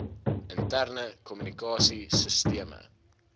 interne kommunikasie sisteme